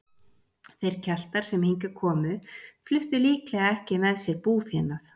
Þeir Keltar sem hingað komu fluttu líklega ekki með sér búfénað.